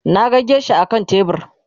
Naga geisha akan tebur